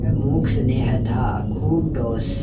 यह मूक स्नेह था खूब ठोस